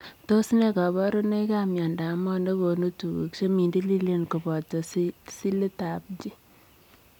Tos nee kabarunoik ap miondoop mooh negonuu tuguk chemindileen kobotoo Silit ap G